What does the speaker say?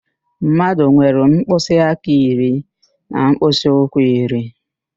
Mmadụ nwere mkpịsị aka iri na mkpịsị ụkwụ iri